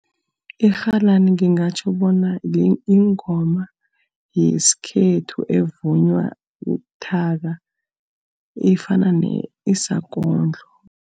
Irhalani ngingatjho bona yingoma yesikhethu evunywa buthaka, efana isakondlo.